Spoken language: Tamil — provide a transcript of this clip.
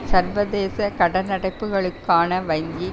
சர்வதேச கடனடைப்புக்களுக்கான வங்கி